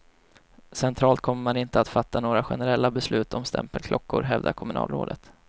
Centralt kommer man inte att fatta några generella beslut om stämpelklockor, hävdar kommunalrådet.